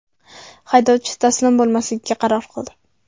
Haydovchi taslim bo‘lmaslikka qaror qildi.